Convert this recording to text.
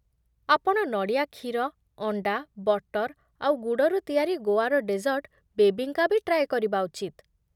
ଆପଣ ନଡ଼ିଆ କ୍ଷୀର, ଅଣ୍ଡା, ବଟର ଆଉ ଗୁଡ଼ରୁ ତିଆରି ଗୋଆର ଡେଜର୍ଟ 'ବେବିଙ୍କା' ବି ଟ୍ରାଏ କରିବା ଉଚିତ ।